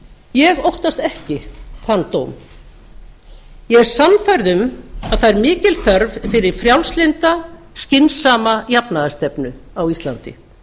ég óttast ekki þann dóm ég er sannfærð um að það er mikil þörf fyrir frjálslynda skynsama jafnaðarstefnu á íslandi